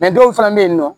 dɔw fana bɛ yen nɔ